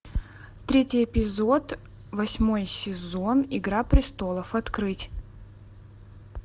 третий эпизод восьмой сезон игра престолов открыть